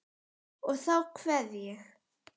Og þá kveð ég.